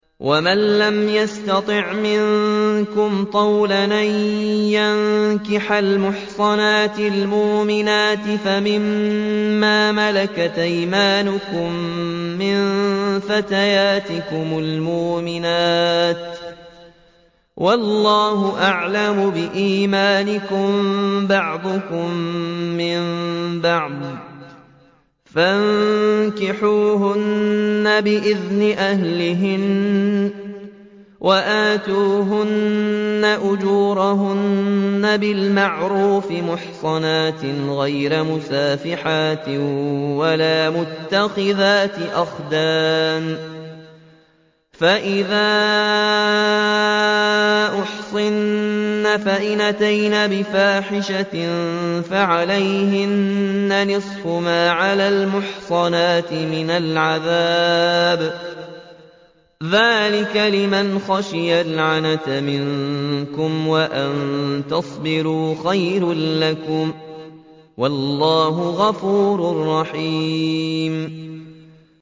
وَمَن لَّمْ يَسْتَطِعْ مِنكُمْ طَوْلًا أَن يَنكِحَ الْمُحْصَنَاتِ الْمُؤْمِنَاتِ فَمِن مَّا مَلَكَتْ أَيْمَانُكُم مِّن فَتَيَاتِكُمُ الْمُؤْمِنَاتِ ۚ وَاللَّهُ أَعْلَمُ بِإِيمَانِكُم ۚ بَعْضُكُم مِّن بَعْضٍ ۚ فَانكِحُوهُنَّ بِإِذْنِ أَهْلِهِنَّ وَآتُوهُنَّ أُجُورَهُنَّ بِالْمَعْرُوفِ مُحْصَنَاتٍ غَيْرَ مُسَافِحَاتٍ وَلَا مُتَّخِذَاتِ أَخْدَانٍ ۚ فَإِذَا أُحْصِنَّ فَإِنْ أَتَيْنَ بِفَاحِشَةٍ فَعَلَيْهِنَّ نِصْفُ مَا عَلَى الْمُحْصَنَاتِ مِنَ الْعَذَابِ ۚ ذَٰلِكَ لِمَنْ خَشِيَ الْعَنَتَ مِنكُمْ ۚ وَأَن تَصْبِرُوا خَيْرٌ لَّكُمْ ۗ وَاللَّهُ غَفُورٌ رَّحِيمٌ